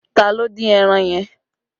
Ta ló dín ẹran yẹn?